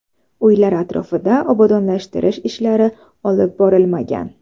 Uylar atrofida obodonlashtirish ishlari olib borilmagan.